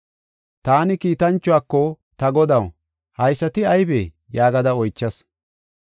Taani kiitanchuwako, “Ta godaw, haysati aybee?” yaagada oychas.